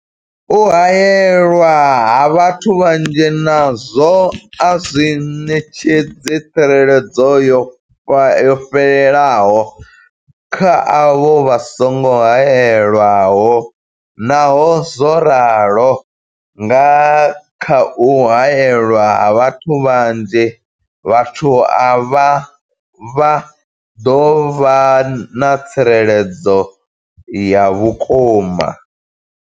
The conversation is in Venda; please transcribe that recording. U haelwa ha vhathu vhanzhi nazwo a zwi ṋetshedzi tsireledzo yo fhelelaho kha avho vha songo haelwaho, Naho zwo ralo, nga kha u haelwa ha vhathu vhanzhi, vhathu avha vha ḓo vha na tsireledzo ya vhukuma.